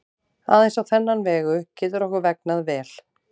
Aðeins á þennan vegu getur okkur vegnað vel.